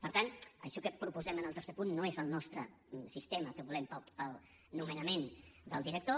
per tant això que proposem en el tercer punt no és el nostre sistema el que volem per al nomenament del director